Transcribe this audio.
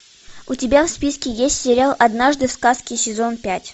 у тебя в списке есть сериал однажды в сказке сезон пять